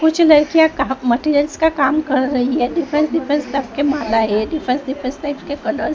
कुछ लड़कियां मटेरियल्स का काम कर रही है डिफरेंस डिफरेंस के डिफरेंस डिफेंस टाइप के कलर --